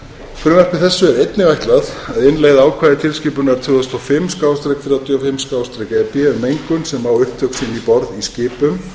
frumvarpi þessu er einnig ætlað að innleiða ákvæði tilskipunar tvö þúsund og fimm þrjátíu og fimm e b um mengun sem á upptök sín um borð í skipum